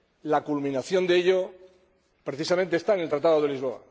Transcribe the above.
La culminación de ello, precisamente, está en el Tratado de Lisboa.